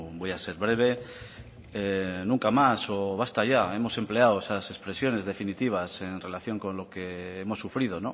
voy a ser breve nunca más o basta ya hemos empleado esas expresiones definitivas en relación con lo que hemos sufrido